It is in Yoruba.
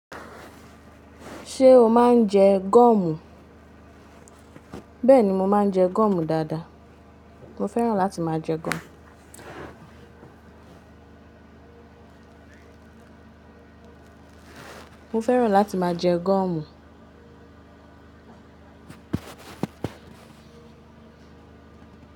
Ṣé o máa ń jẹ gọ́ọ̀mù? Bẹ́ẹ̀ni, mo máa ń jẹ gọ́ọ̀mù dáadáa. Mo fẹ́ràn láti máa jẹ gọ́ọ̀mù. Mo fẹ́ràn láti máa jẹ gọ́ọ̀mù.